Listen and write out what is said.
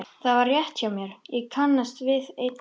Það var rétt hjá mér, ég kannast við einn þeirra.